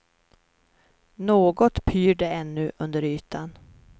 Något pyr det ännu under ytan.